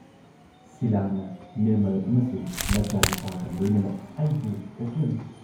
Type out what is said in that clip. ꯅꯨꯃꯤꯠ ꯑꯗꯨꯒꯤ ꯄꯨꯡ ꯱꯰ꯗ ꯄꯤꯇꯔꯁꯕꯔꯒꯄꯨ ꯕꯤꯗꯥꯏ ꯇꯧꯔꯝꯂꯒ ꯀꯥꯔꯅꯦꯒꯤ ꯑꯦꯌꯔꯄꯣꯔꯠꯇꯒꯤ ꯑꯃꯦꯔꯤꯀꯟ ꯏꯒꯜꯁꯀꯤ ꯐ꯭ꯂꯥꯏꯠ